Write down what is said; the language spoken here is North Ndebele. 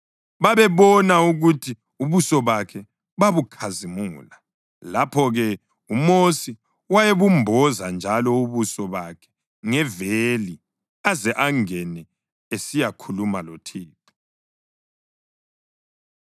babebona ukuthi ubuso bakhe babukhazimula. Lapho-ke uMosi wayebumboza njalo ubuso bakhe ngeveli aze angene esiyakhuluma loThixo.